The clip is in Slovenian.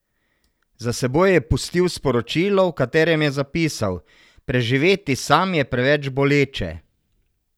Za seboj je pustil sporočilo, v katerem je zapisal: 'Preživeti sam je preveč boleče.